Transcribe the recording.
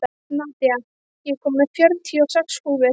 Nadia, ég kom með fjörutíu og sex húfur!